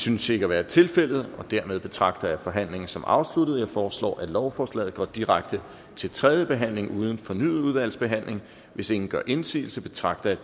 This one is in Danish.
synes ikke at være tilfældet og dermed betragter jeg forhandlingen som afsluttet jeg foreslår at lovforslaget går direkte til tredje behandling uden fornyet udvalgsbehandling hvis ingen gør indsigelse betragter jeg